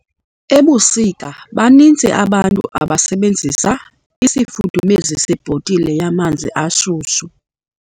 Ebusika baninzi abantu abasebenzisa isifudumezi sebhotile yamanzi ashushu.